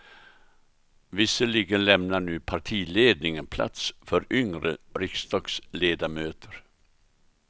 Visserligen lämnar nu partiledningen plats för yngre riksdagsledamöter.